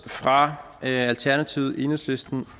fra alternativet enhedslisten